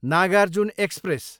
Nagarjun express